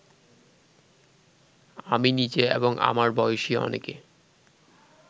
আমি নিজে এবং আমার বয়সী অনেকে